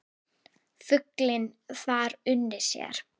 Fuglinn þar unir sér.